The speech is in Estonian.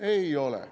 Ei ole.